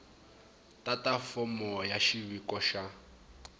tata fomo ya xiviko xa